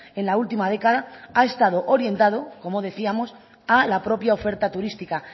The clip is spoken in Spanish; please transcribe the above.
en la última década ha estado orientado como decíamos a la propia oferta turística